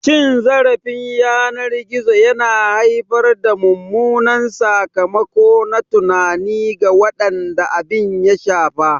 Cin zarafin yanar gizo yana haifar da mummunan sakamako na tunani ga waɗanda abin ya shafa.